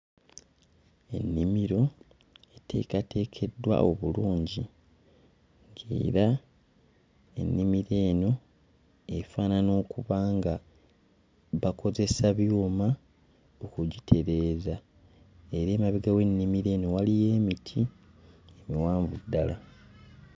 Ennimiro eteekateekeddwa obulungi ng'era ennimiro eno efaanana okuba nga bakozesa byuma okugitereeza era emabega w'ennimiro eno waliyo emiti emiwanvu ddala.